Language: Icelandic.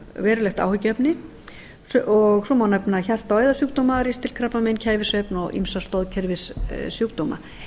verulegt áhyggjuefni og svo má nefna hjarta og æðasjúkdóma ristilkrabbamein kæfisvefni og ýmsa stoðkerfissjúkdómum mig